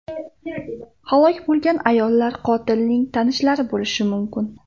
Halok bo‘lgan ayollar qotilning tanishlari bo‘lgan bo‘lishi mumkin.